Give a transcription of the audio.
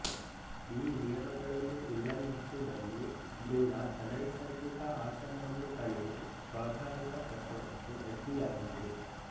ಈ ನಿಯಮಗಳನ್ನು ಉಲ್ಲಂಘಿಸಿದಲ್ಲಿ ಭ್ರೂಣ ಅನೈಸರ್ಗಿಕ ಆಸನವನ್ನು ತಳೆದು ಸ್ವಾಭಾವಿಕ ಪ್ರಸವಕ್ಕೆ ಅಡ್ಡಿಯಾಗುವುದು